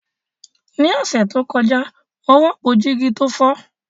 Ní ọ̀sẹ̀ tó kọjá, mo rọ́pò jígí tó fọ́